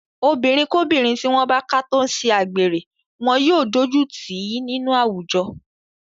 Obìnrinkóbìnrin tí wọ́n bá ká tó ń ṣe agbèrè wọn yóò dójú tì í nínú àwùjọ.